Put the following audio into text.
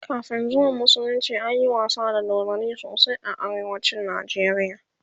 kamin zuwan musulunci anyi wasa da dodanni sosai a arewacin Nigeria